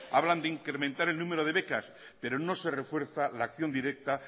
hablan de incrementar en número de becas pero no se refuerza la acción directa